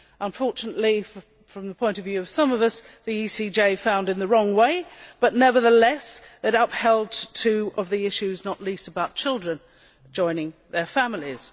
Unfortunately, from the point of view of some of us, the ECJ found in the wrong way, but nevertheless it upheld two of the issues, not least about children joining their families.